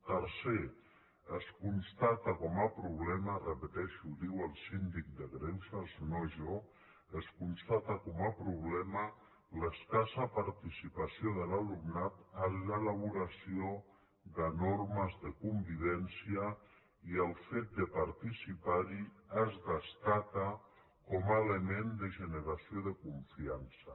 tercer es constata com a problema ho repeteixo ho diu el síndic de greuges no jo l’escassa participació de l’alumnat en l’elaboració de normes de convivència i el fet de participar hi es destaca com a element de generació de confiança